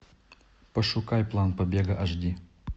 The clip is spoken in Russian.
пошукай план побега аш ди